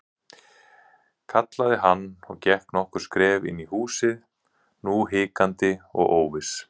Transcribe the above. kallaði hann og gekk nokkur skref inn í húsið, nú hikandi og óviss.